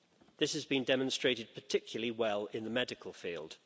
This has been demonstrated particularly well in the medical field.